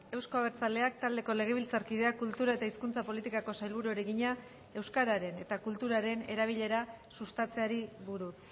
euzko abertzaleak taldeko legebiltzarkideak kultura eta hizkuntza politikako sailburuari egina euskararen eta kulturaren erabilera sustatzeari buruz